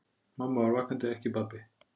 Mamma var vakandi, ekki pabbi.